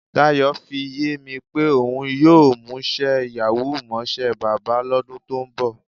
Dayò̩ fi yé mi pé òun yóò mús̩é̩ yàwúù mó̩s̩é̩ bábà ló̩dún tó ń bò̩.